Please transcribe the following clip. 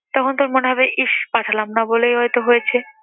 তখন তোর মনে হবে ইসস পাঠালাম না বলেই হয়ত হয়েছে।